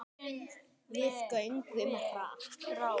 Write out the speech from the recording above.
Við göngum hratt.